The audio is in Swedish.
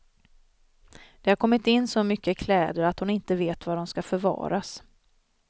Det har kommit in så mycket kläder att hon inte vet var de ska förvaras.